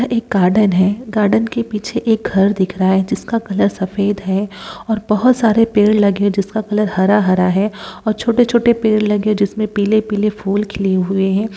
यह एक गार्डन है गार्डन के पीछे एक घर दिख रहा है जिसका कलर सफ़ेद है और बहुत सारे पेड़ लगे हैं जिसका कलर हरा-हरा है और छोटे-छोटे पेड़ लगे जिसमें पीले-पीले फूल खिले हुए हैं।